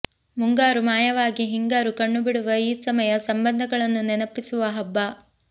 ಮುಂಗಾರು ಮಾಯವಾಗಿ ಹಿಂಗಾರು ಕಣ್ಣುಬಿಡುವ ಈ ಸಮಯ ಸಂಬಂಧಗಳನ್ನು ನೆನಪಿಸುವ ಹಬ್ಬ